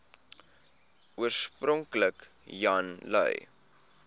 oorspronklik jan lui